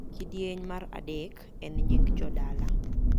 kidieny mar adek en nying jodala